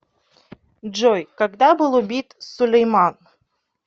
джой когда был убит сулейман